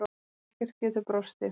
Ekkert getur brostið.